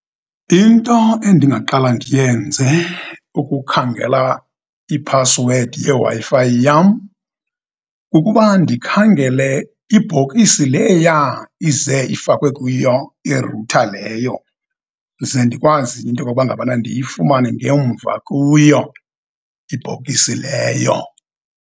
Into endingaqala ndiyenze ukukhangela iphasiwedi yeWi-Fi yam, kukuba ndikhangele ibhokisi leyaa ize ifakwe kuyo irutha leyo, ze ndikwazi into yokuba ngabana ukuba ndiyifumane ngemva kuyo ibhokisi leyo.